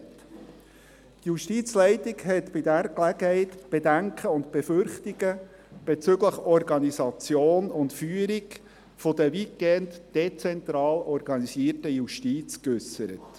Die Justizleitung hat bei dieser Gelegenheit die Bedenken und Befürchtungen bezüglich Organisation und Führung der weitgehend dezentral organisierten Justiz geäussert.